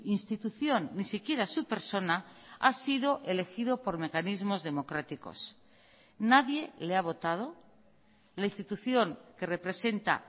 institución ni siquiera su persona ha sido elegido por mecanismos democráticos nadie le ha votado la institución que representa